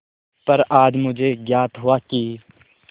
पर आज मुझे ज्ञात हुआ कि